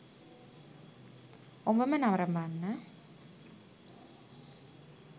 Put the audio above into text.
ඔබම නරඹන්න.